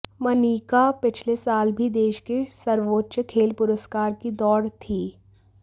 मनिका पिछले साल भी देश के सर्वोच्च खेल पुरस्कार की दौड़ थी